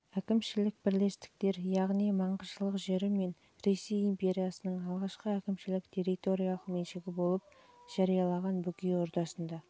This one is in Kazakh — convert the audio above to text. әкімшілік бірлестіктер яғни маңғышлақ жері мен ресей империясының алғашқы әкімшілік-территориялық меншігі болып жарияланған бөкей ордасында